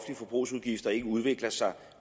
forbrugsudgifter ikke udvikler sig